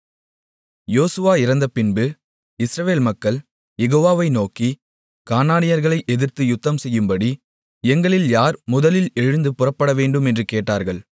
யோசுவா இறந்தபின்பு இஸ்ரவேல் மக்கள் யெகோவாவை நோக்கி கானானியர்களை எதிர்த்து யுத்தம்செய்யும்படி எங்களில் யார் முதலில் எழுந்து புறப்படவேண்டும் என்று கேட்டார்கள்